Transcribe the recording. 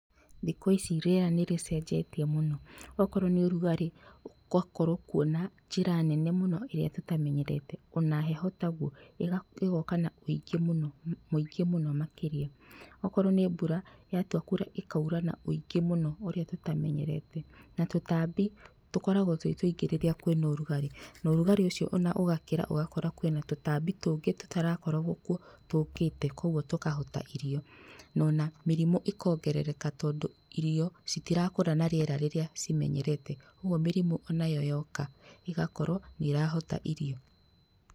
Thikũ ici rĩera nĩrĩcenjetie mũno, okorwo nĩ ũrugarĩ ũgakorwo kuo na njĩra nene mũno ĩrĩa tũtamenyerete ona heho taguo, ĩga ĩgoka na wĩingĩ muno mwĩngĩ mũno makĩria okorwo nĩ mbura yatua kura ĩkaura na wĩingĩ mũno ũrĩa tũtamenyerete na tũtambi tũkoragwo twĩ tũingĩ rĩrĩa kwĩna ũrugarĩ ona ũrugarĩ ũcio ona ũgakĩra ũgakora kwĩna tũtambi tũngĩ tũtarakoragwo kuo tũkĩte kwoguo tũkahota irio na ona mĩrimũ ĩkongerereka tondũ irio citirakũra na rĩera rĩrĩa cimenyerete ũguo mĩrimũ onayo yoka ĩgakorwo nĩirahota irio.